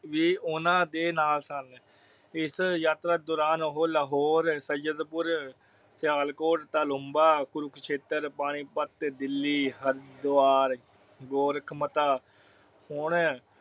ਵੀ ਊਨਾ ਦੇ ਨਾਲ ਸਨ। ਇਸ ਯਾਤਰਾ ਦੌਰਾਨ ਉਹੁ ਲਾਹੌਰ, ਸਾਈਦਪੁਰ, ਸਿਆਲਕੋਟ, ਤਾਲੁਬਾ, ਕੁਰਕਸ਼ੇਤਰ ਪਾਣੀਪਤ, ਦਿੱਲੀ, ਹਰਿਦਿਵਾਰ, ਗੋਰਖਮਤਾ ਹੋਣ।